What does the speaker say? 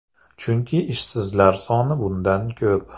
Chunki ishsizlar soni bundan ko‘p.